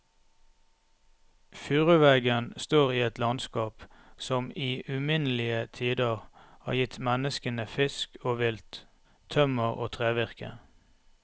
Furuveggen står i et landskap som i uminnelige tider har gitt menneskene fisk og vilt, tømmer og trevirke.